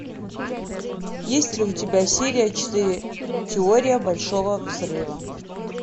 есть ли у тебя серия четыре теория большого взрыва